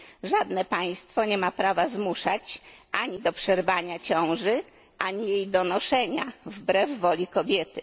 Żadne państwo nie ma prawa zmuszać ani do przerwania ciąży, ani jej donoszenia wbrew woli kobiety.